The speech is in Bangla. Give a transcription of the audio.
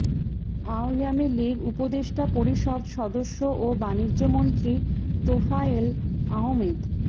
আওয়ামী লীগ উপদেষ্টা পরিষদ সদস্য ও বাণিজ্যমন্ত্রী তোফায়েল আহমেদ